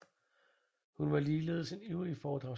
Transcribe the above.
Hun var ligeledes en ivrig foredragsholder